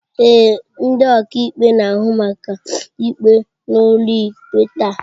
Ee, ndị ọkaikpe na-ahụ maka ikpe ụlọikpe taa.